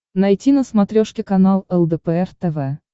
найти на смотрешке канал лдпр тв